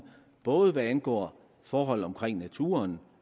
både hvad angår forhold omkring naturen